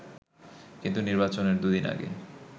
কিন্তু নির্বাচনের দুদিন আগে